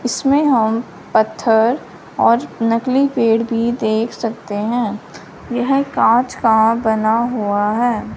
इसमें हम पत्थर और नकली पेड़ भी देख सकते हैं यह कांच का बना हुआ है।